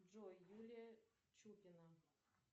джой юлия чупина